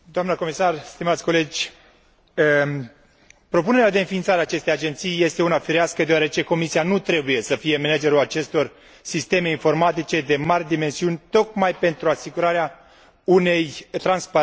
Propunerea de înființare a acestei agenții este una firească, deoarece Comisia nu trebuie să fie managerul acestor sisteme informatice de mari dimensiuni, tocmai pentru asigurarea unei transparențe totale și a înlătura orice conflict de interese.